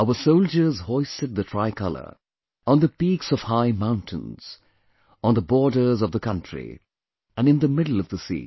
Our soldiers hoisted the tricolor on the peaks of high mountains, on the borders of the country, and in the middle of the sea